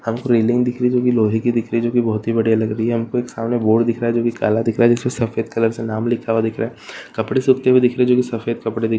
हमको एक रेलिंग दिख रही है जो की लोहे की दिख रही जो की बहुत ही बढ़िया लग रही है हमको सामने एक बोर्ड दिख रहा है जो की काला दिखाई दे रहा है जिस पर सफेद कलर से नाम लिखा हुआ दिख रहा है कपड़े सूखते हुए दिख रहे है जो की सफेद कपड़े--